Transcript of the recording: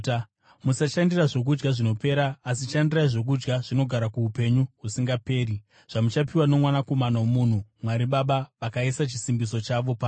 Musashandira zvokudya zvinopera, asi shandirai zvokudya zvinogara kuupenyu husingaperi zvamuchapiwa noMwanakomana woMunhu. Mwari Baba vakaisa chisimbiso chavo paari.”